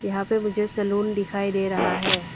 यहां पे मुझे सैलून दिखाई दे रहा है।